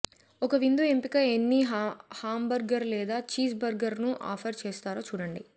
ఒక విందు ఎంపికగా ఎన్ని హాంబర్గర్ లేదా చీజ్బర్గర్ను ఆఫర్ చేస్తారో చూడండి